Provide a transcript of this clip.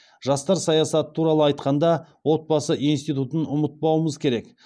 жастар саясаты туралы айтқанда отбасы институтын ұмытпауымыз керек